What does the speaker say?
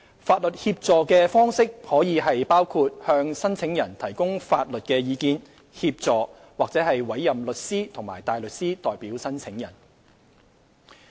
法律協助的方式可包括向申請人提供法律意見、協助或委任律師及大律師代表申請人。